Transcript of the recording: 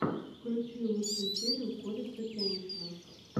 включи лучшую серию корикса кеншина